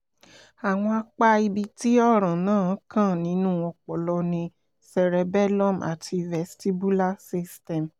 àwọn apá ibi tí ọ̀ràn náà kàn nínú ọpọlọ ni cerebellum àti vestibular system